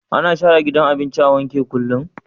Ana share gidan abinci abinci a wanke kullum